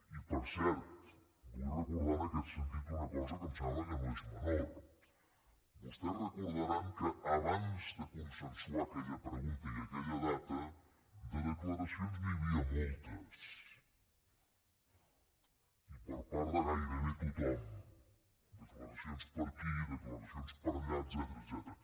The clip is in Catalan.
i per cert vull recordar en aquest sentit una cosa que em sembla que no és menor vostès deuen recordar que abans de consensuar aquella pregunta i aquella data de declaracions n’hi havia moltes i per part de gairebé tothom declaracions per aquí declaracions per allà etcètera